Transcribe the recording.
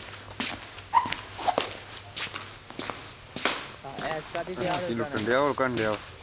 ਹਾਂ ਐਸ਼ ਕਾਹਦੀ ਲੁੱਟਣ ਡੇਆ ਹੋਰ ਕੀ ਕਰਨ ਡੇਆ ਆ?